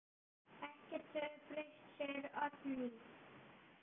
Ekkert hefur breyst, segir Oddný.